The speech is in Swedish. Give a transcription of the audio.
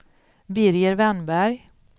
Birger Wennberg